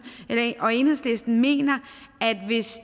og enhedslisten mener at hvis